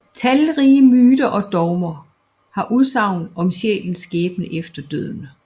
Talrige myter og dogmer har udsagn om sjælens skæbne efter døden